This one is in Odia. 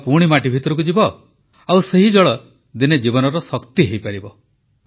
ଜଳ ପୁଣି ମାଟି ଭିତରକୁ ଯିବ ଆଉ ସେଇ ଜଳ ଦିନେ ଜୀବନର ଶକ୍ତି ହୋଇପାରିବ